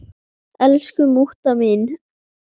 Elsku mútta mín.